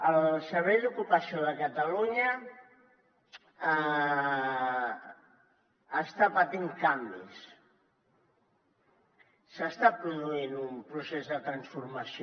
el servei d’ocupació de catalunya està patint canvis s’està produint un procés de transformació